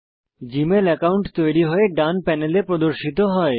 Gmail account তৈরি হয়ে ডান প্যানেলে প্রদর্শিত হয়